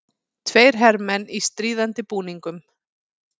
Tveir hermenn í stríðandi búningum.